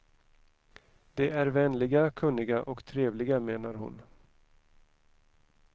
De är vänliga, kunniga och trevliga, menar hon.